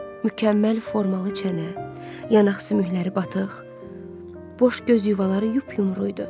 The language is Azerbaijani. Mükəmməl formalı çənə, yanaq sümükləri batıq, boş göz yuvaları yup-yumru idi.